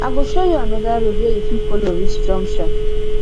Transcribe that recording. i go show you anoda road wey you fit folo reach junction